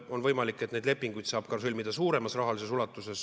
On võimalik, et neid lepinguid saab sõlmida ka suuremas rahalises ulatuses.